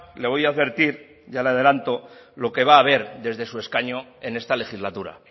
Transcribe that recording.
le voy a advertir ya le adelanto lo que va a ver desde su escaño en esta legislatura